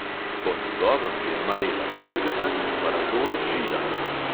Po njegovem je marela strgana in parazol židan.